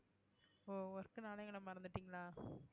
ஓ work னாலே எங்கள மறந்துட்டீங்களா